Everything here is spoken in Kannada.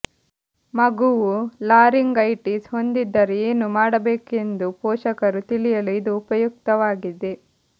ಮಗುವು ಲಾರಿಂಗೈಟಿಸ್ ಹೊಂದಿದ್ದರೆ ಏನು ಮಾಡಬೇಕೆಂದು ಪೋಷಕರು ತಿಳಿಯಲು ಇದು ಉಪಯುಕ್ತವಾಗಿದೆ